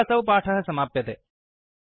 अत्र असौ पाठः समाप्यते